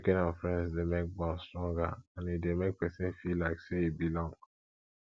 checking on friends de make bond stronger and e de make persin feel like say e belong